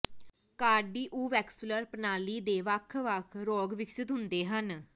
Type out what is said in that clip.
cardiovascular ਪ੍ਰਣਾਲੀ ਦੇ ਵੱਖ ਵੱਖ ਰੋਗ ਵਿਕਸਿਤ ਹੁੰਦੇ ਹਨ